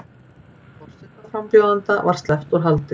Forsetaframbjóðanda sleppt úr haldi